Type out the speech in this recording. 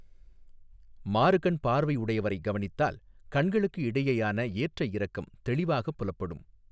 மாறுகண் பார்வை உடையவரைக் கவனித்தால், ​​​​கண்களுக்கு இடையேயான ஏற்றயிறக்கம் தெளிவாகப் புலப்படும்.